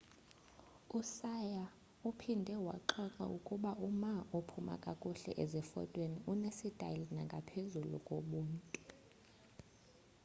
uhsieh uphinde waxoxa ukuba uma ophuma kakuhle zifotweni unesitayile ngaphezu kobuntu